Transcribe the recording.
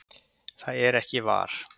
það er ekki var,